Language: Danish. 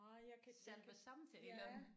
Ej jeg kan jeg kan ja